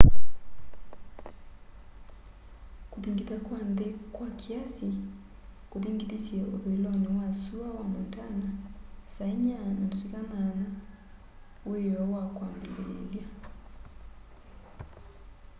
kuthingitha kwa nthi kwa kiasi kuthingithisye uthuiloni wa sua wa montana saa 10:08 wioo wa kwambiliilya